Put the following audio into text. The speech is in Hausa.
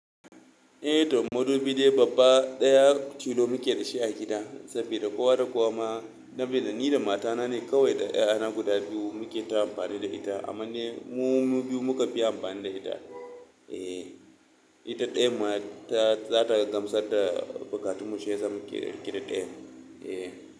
Eh toh, madubi dai babba daya tilo mukeda shi a gida, sabida kowa da kowa ma, sabida ni da matana ne kawai da 'ya'yana guda biyu muke ta amfani da ita amma mu mu biyu muka fi amfani da ita. Eh, ita dayan ma ta, za ta gamsar da buƙatun mu shiyasa muke riƙe da dayan. Eh.